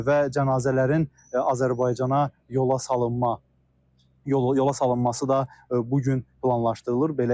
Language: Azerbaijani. Və cənazələrin Azərbaycana yola salınma yola salınması da bu gün planlaşdırılır.